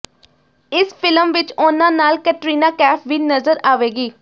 ਇਸ ਫਿਲਮ ਵਿਚ ਉਹਨਾਂ ਨਾਲ ਕੈਟਰੀਨਾ ਕੈਫ ਵੀ ਨਜ਼ਰ ਆਵੇਗੀ